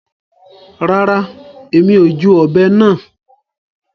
Rárá, Èmi o júù òbé náà